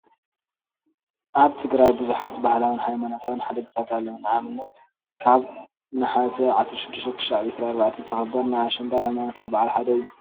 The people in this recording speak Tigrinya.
ኣብ ትግራይ ብዙሓት ባህላውን ሃይማኖታውን ሓድግታት ኣለው፡፡ ንኣብነት ካብ ናሓሰ 16 - 24 ዝኽበር ናይ ኣሸንዳ ሃይማኖታዊ በዓል ሓደ እዩ፡፡